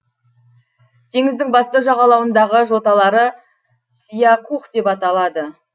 теңіздің басты жағалауындағы жоталары сиякух деп аталады